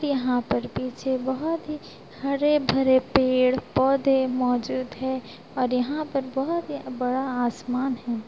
यहाँ पर पीछे बोहोत ही हरे-भरे पेड़-पौधे मौजूद है और यहाँ पर बोहोत ही बड़ा आसमान है।